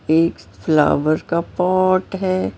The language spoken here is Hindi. एक फ्लावर का पॉट है।